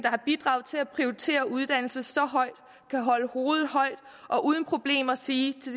har bidraget til at prioritere uddannelse så højt kan holde hovedet højt og uden problemer sige